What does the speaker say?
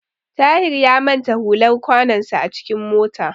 Tahir ya manta hular kwanonsa a cikin mota.